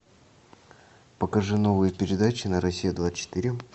покажи новые передачи на россия двадцать четыре